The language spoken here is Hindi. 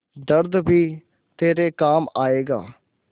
दर्द भी तेरे काम आएगा